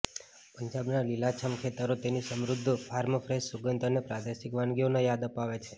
પંજાબના લીલાંછમ ખેતરો તેની સમૃધ્ધ ફાર્મ ફ્રેશ સુગંધ અને પ્રાદેશિક વાનગીઓની યાદ અપાવે છે